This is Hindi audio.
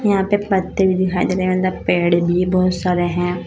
यहां पे पत्ते भी दिखाई दे रहे हैं पेड़ भी बहोत सारे हैं।